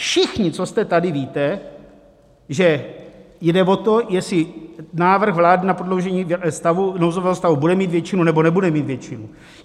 Všichni, co jste tady, víte, že jde o to, jestli návrh vlády na prodloužení nouzového stavu bude mít většinu, nebo nebude mít většinu.